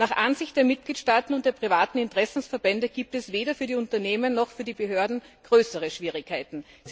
Nach Ansicht der Mitgliedstaaten und der privaten Interessenverbände gibt es weder für die Unternehmen noch für die Behörden größere Schwierigkeiten.